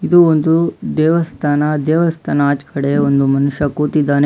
ಇದು ಒಂದು ದೇವಸ್ಥಾನ ದೇವಸ್ಥಾನ ಆಚೆಕಡೆ ಒಂದು ಮನುಷ್ಯ ಕೂತಿದ್ದಾನೆ.